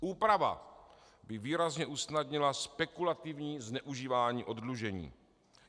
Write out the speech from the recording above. Úprava by výrazně usnadnila spekulativní zneužívání oddlužení.